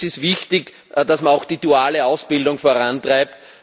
Und es ist wichtig, dass man auch die duale Ausbildung vorantreibt.